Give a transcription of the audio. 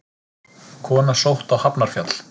Kona sótt á Hafnarfjall